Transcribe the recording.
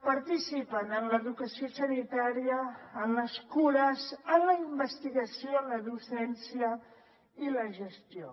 participen en l’educació sanitària en les cures en la investigació la docència i la gestió